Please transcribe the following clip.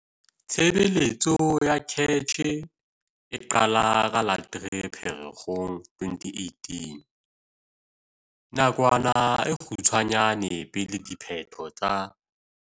Tshebeletso ya CACH e qala ka la 3 Pherekgong 2018, nakwana e kgutshwanyane pele diphetho tsa